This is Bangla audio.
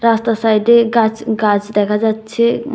রাস্তার সাইডে গাছ গাছ দেখা যাচ্ছে।